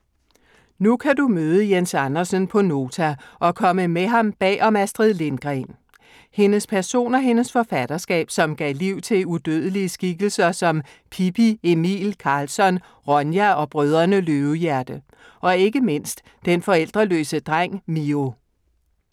Nu kan du møde Jens Andersen på Nota og komme med ham bag om Astrid Lindgren. Hendes person og hendes forfatterskab, som gav liv til udødelige skikkelser som Pippi, Emil, Karlsson, Ronja og Brødrene Løvehjerte. Og, ikke mindst, den forældreløse dreng Mio.